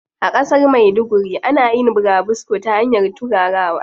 A ƙasar maiduguri ana yin burabusko ta hanyar turarawa.